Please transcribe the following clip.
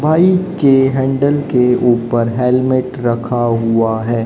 बाईके के हैंडल के ऊपर हेलमेट रखा हुआ है।